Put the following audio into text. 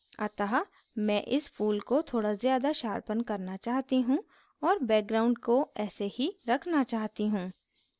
अतः मैं इस फूल को थोड़ा ज़्यादा sharpen करना चाहती हूँ और background को ऐसे ही रखना चाहती हूँ